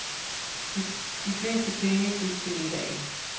De fleste penge gik til middagen.